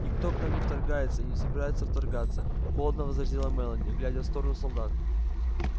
никто к нам не вторгается и не собирается вторгаться холодно возразила мелани глядя в сторону солдат